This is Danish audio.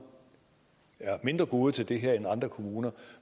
er mindre gode til det her end andre kommuner